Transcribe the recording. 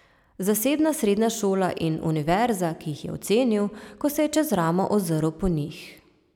Zasebna srednja šola in univerza, jih je ocenil, ko se je čez ramo ozrl po njih.